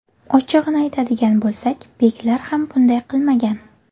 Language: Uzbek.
Ochig‘ini aytadigan bo‘lsak, beklar ham bunday qilmagan.